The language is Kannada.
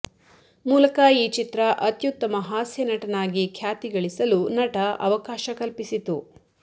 ಮೂಲಕ ಈ ಚಿತ್ರ ಅತ್ಯುತ್ತಮ ಹಾಸ್ಯನಟನಾಗಿ ಖ್ಯಾತಿ ಗಳಿಸಲು ನಟ ಅವಕಾಶ ಕಲ್ಪಿಸಿತು